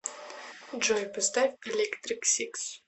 джой поставь электрик сикс